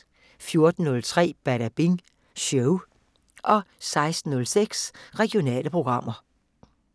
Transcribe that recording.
14:03: Badabing Show 16:06: Regionale programmer